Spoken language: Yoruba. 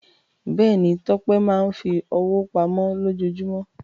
Bẹ́ẹ̀ ni, Tọ́pẹ́ máa ń fi owó pamọ́ lójoojúmọ́.